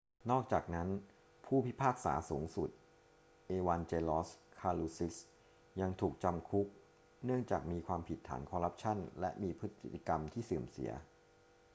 นอกจากนั้น ผู้พิพากษาสูงสุด เอวานเจลอส คาลูซิสยังถูกจำคุกเนื่องจากมีความผิดฐานคอรัปชั่นและมีพฤติกรรมที่เสื่อมเสีย